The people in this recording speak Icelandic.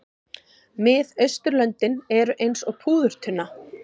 Miðausturlöndin eru eins og púðurtunna.